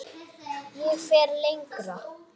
Ég fer lengra.